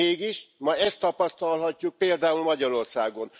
Mégis, ma ezt tapasztalhatjuk például Magyarországon.